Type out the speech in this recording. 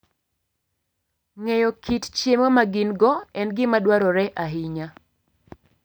Ng'eyo kit chiemo ma gin - go en gima dwarore ahinya.